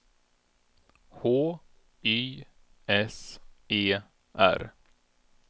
H Y S E R